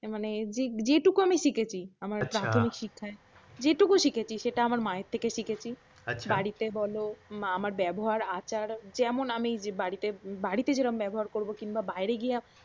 মানে যেটুকু আমি শিখেছি আমার প্রাথমিক শিক্ষায় যেটুকু শিখেছি তা আমার মায়ের থেকে শিখেছি বাড়িতে বলও বা আমার ব্যবহার আচার যেমন আমি যে বাড়িতে বাড়িতে যেরকম ব্যবহার করব কিংবা বাইরে গিয়ে